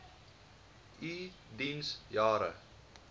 u diens jare